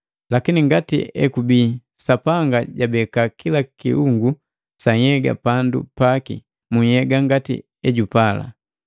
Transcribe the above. Lakini ngati ekubii, Sapanga jabeka kila kiungu sa nhyega pandu paki mu nhyega ngati ejupai.